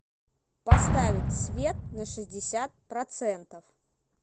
поставить свет на шестьдесят процентов